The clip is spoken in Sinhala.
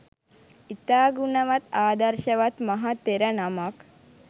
ඉතා ගුණවත් ආදර්ශවත් මහ තෙර නමක්.